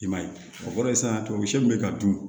I man ye o kɔrɔ ye sisan tamasiyɛn min bɛ ka dun